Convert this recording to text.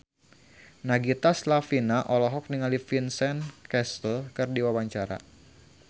Nagita Slavina olohok ningali Vincent Cassel keur diwawancara